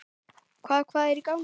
Hvað, hvað er í gangi?